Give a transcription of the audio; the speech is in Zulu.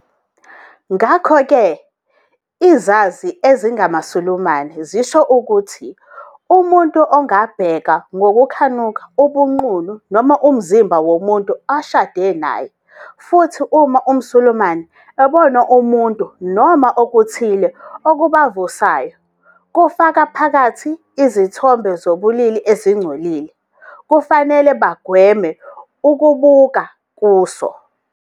"Ngakho-ke, izazi ezingamaSulumane zisho ukuthi umuntu angabheka ngokukhanuka ubunqunu noma umzimba womuntu oshade naye, futhi uma umSulumane ebona umuntu noma okuthile okubavusayo, kufaka phakathi izithombe zobulili ezingcolile, kufanele bagweme ukubuka kuso.